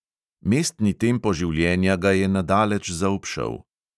Mestni tempo življenja ga je na daleč zaobšel.